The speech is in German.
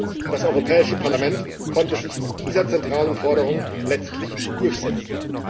Doch das Europäische Parlament konnte sich mit dieser zentralen Forderung letztlich durchsetzen.